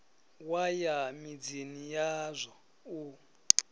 wa ya midzini yazwo u